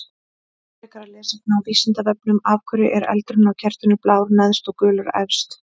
Frekara lesefni á Vísindavefnum: Af hverju er eldurinn á kertinu blár neðst og gulur efst?